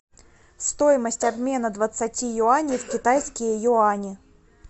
стоимость обмена двадцати юаней в китайские юани